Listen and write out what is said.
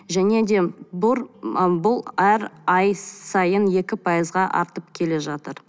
және де ы бұл әр ай сайын екі пайызға артып келе жатыр